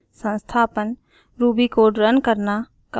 संस्थापन ruby code run करना